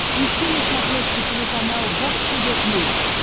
ищи на смотрешке телеканал бокс тв плюс